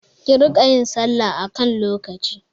Ki riƙa yin salla a kan lokaci!